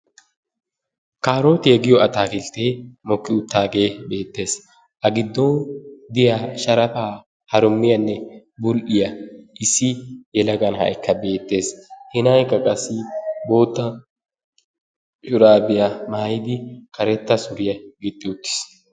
Kaarotiyaagiyo atakilttee mokki uttidaagee beetees. A giddon diya sharafa harummiyanne bul'iya issi yelaga na'aykka beetees. He na'aaykka qassi bootta shuraabiya maayidi karetta suuriyaa gixi uttiis.